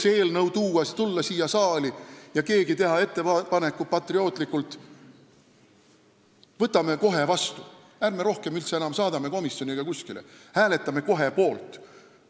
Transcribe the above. Miks ei oleks võinud see eelnõu tulla siia saali ja keegi teha patriootlikult ettepaneku, et võtame selle kohe vastu, ärme saadame seda üldse enam komisjoni ega kuskile, hääletame kohe poolt?